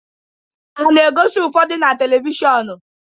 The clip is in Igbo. A na-egosi ụfọdụ na televishọnu